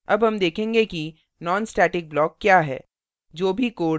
अब हम देखेंगे कि nonstatic block क्या है